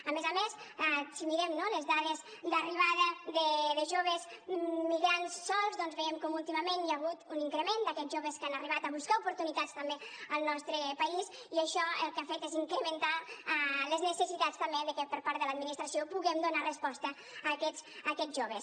a més a més si mirem no les dades d’arribada de joves migrants sols doncs veiem com últimament hi ha hagut un increment d’aquests joves que han arribat a buscar oportunitats també al nostre país i això el que ha fet és incrementar les necessitats també que per part de l’administració puguem donar resposta a aquests joves